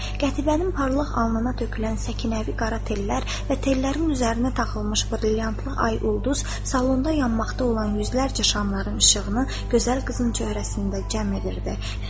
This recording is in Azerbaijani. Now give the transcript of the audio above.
Qətibənin parlaq alnına tökülən səkinəvi qara tellər və tellərin üzərinə taxılmış brilyantlı ay ulduz salonda yanmaqda olan yüzlərcə şamların işığını gözəl qızın cöhrəsində cəm edirdi.